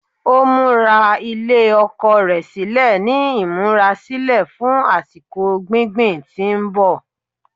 Ó múra ilẹ̀ oko rẹ̀ sílẹ̀ ní ìmúrasílẹ̀ fún àsìkò gbingbin tí ń bọ̀